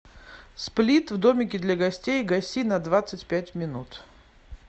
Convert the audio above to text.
сплит в домике для гостей гаси на двадцать пять минут